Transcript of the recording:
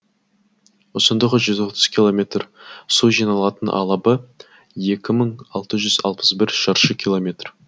ұзындығы жүз отыз километр су жиналатын алабы екі мың алты жүз алпыс бір шаршы километр